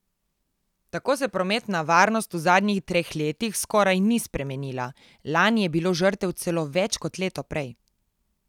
Tako se prometna varnost v zadnjih treh letih skoraj ni spremenila, lani je bilo žrtev celo več kot leto prej.